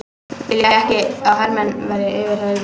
Vilja ekki að hermenn verði yfirheyrðir